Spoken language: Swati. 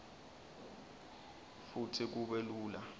futsi kube lula